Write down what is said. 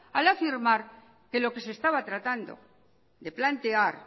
al afirmar que lo que se estaba tratando de plantear